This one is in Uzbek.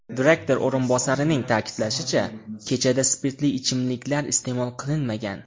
Direktor o‘rinbosarining ta’kidlashicha, kechada spirtli ichimliklar iste’mol qilinmagan .